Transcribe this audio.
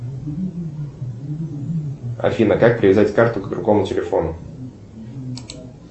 афина как привязать карту к другому телефону